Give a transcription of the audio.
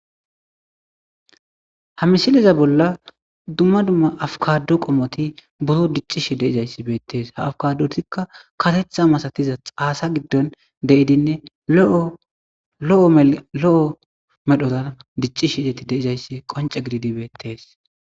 ha misiliza bolla dumma dumma afkado qomoti buro diccishi de'izayssi beettees ha afkadotikka katetha masatiza haasa giddon de7idinne lo7o lo7o medhoran diccishideti deizayssi qonce gididi beettes